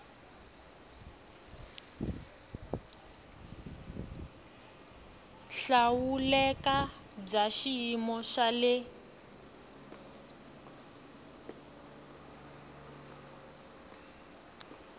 hlawuleka bya xiyimo xa le